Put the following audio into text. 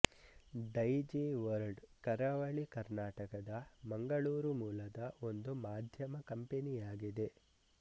ಡೈಜಿವರ್ಲ್ಡ್ ಕರಾವಳಿ ಕರ್ನಾಟಕದ ಮಂಗಳೂರು ಮೂಲದ ಒಂದು ಮಾಧ್ಯಮ ಕಂಪನಿಯಾಗಿದೆ